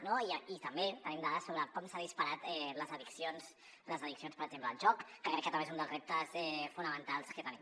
no i també tenim dades sobre com s’han disparat les addiccions per exemple el joc que crec que també és un dels reptes fonamentals que tenim